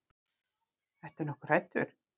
Ertu nokkuð hræddur?